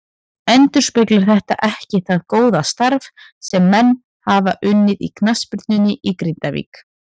Endurspeglar þetta ekki það góða starf sem menn hafa unnið í knattspyrnunni í Grindavík.